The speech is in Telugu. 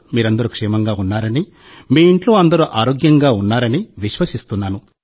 మీరందరూ క్షేమంగా ఉన్నారని మీ ఇంట్లో అందరూ ఆరోగ్యంగా ఉన్నారని విశ్వసిస్తున్నాను